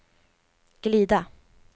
glida